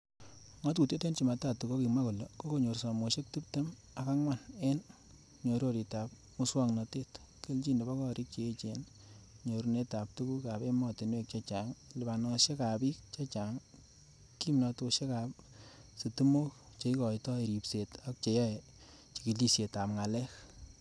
Ngatutiet en jumatatu kokimwa kole kokonyor somoshek tib tem am angwan en mnyororitab muswognotet, kelchin nebo gorik che echen, nyorunetab tuguk ab emotinwek chechang, lipanosiek ab bik chechang, kimnosiek ab sitimok, cheikoitoi ribset ak cheyoe chigilisiet ab ngalek.